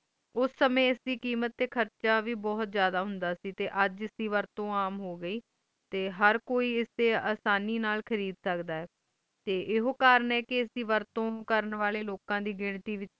ਉਸ ਸਮੇਂ ਇਸ ਦੀ ਕੀਮਤ ਤੇ ਖਰਚਾ ਵੀ ਬਹੁਤ ਜ਼ਿਆਦਾ ਹੋਂਦ ਸੀ ਤੇ ਅਜੇ ਐਡੀ ਵਰਤੋਂ ਆਮ ਹੋ ਗਏ ਤੇ ਹਰ ਕੋਈ ਐਨੋ ਆਸਾਨੀ ਨਾਲ ਖਰੀਦ ਸਕਦਾ ਆਈ ਤੇ ਐਹੈ ਕਰਨ ਆਏ ਕ ਐਡੀ ਵਰਤੋਂ ਕਰਨ ਆਲੇ ਲੋਕਾਂ ਦੀ ਗਿਣਤੀ ਵਿਚ